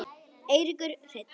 Eiríkur Hreinn.